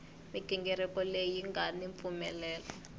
mighingiriko leyi nga ni mpfumelelo